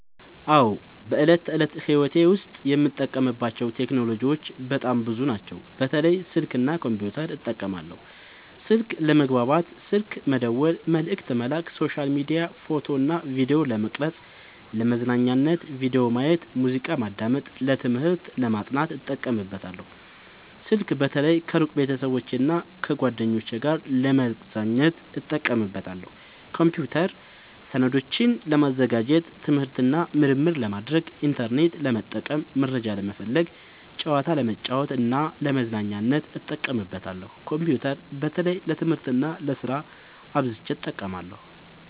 አዎ፣ በዕለት ተዕለት ሕይወቴ ዉስጥ የምጠቀምባቸው ቴክኖሎጂዎች በጣም ብዙ ናቸው፣ በተለይ ስልክ እና ኮምፒውተር እጠቀማለሁ። 1. ስልክ፦ ለመግባባት (ስልክ መደወል፣ መልዕክት መላክ)፣ሶሻል ሚዲያ፣ ፎቶ እና ቪዲዮ ለመቅረጵ፣ ፣ለመዝናኛነት(ቪዲዮ ማየት፣ ሙዚቃ ማዳመጥ)፣ ለትምህርት(ለማጥናት) እጠቀምበታለሁ። ስልክ በተለይ ከሩቅ ቤተሰቦቼና እና ጓደኞቼ ጋር ለመገናኘት እጠቀምበታለሁ። 2. ኮምፒውተር፦ ሰነዶችን ለማዘጋጀት፣ ትምህርት እና ምርምር ለማድረግ፣ ኢንተርኔት ለመጠቀም (መረጃ ለመፈለግ)፣ ጨዋታ ለመጫወት እና ለመዝናኛነት እጠቀምበታለሁ። ኮምፒውተር በተለይ ለትምህርት እና ለስራ አብዝቸ እጠቀማለሁ።